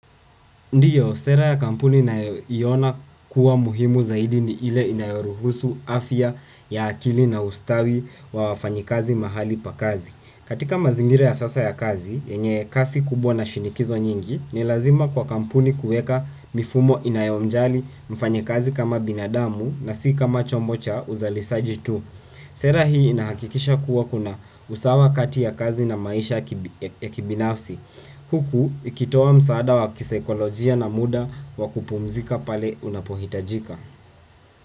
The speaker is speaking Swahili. Ndiyo, sera ya kampuni ninaiona kuwa muhimu zaidi ni ile inayoruhusu afya ya akili na ustawi wa wafanyakazi mahali pa kazi. Katika mazingira ya sasa ya kazi, yenye kasi kubwa na shinikizo nyingi, ni lazima kwa kampuni kuweka mifumo inayomjali mfanyakazi kama binadamu na si kama chombo cha uzalishaji tu. Sera hii inahakikisha kuwa kuna usawa kati ya kazi na maisha ya kibinafsi. Huku ikitoa msaada wa kisaikolojia na muda wa kupumzika pale unapohitajika.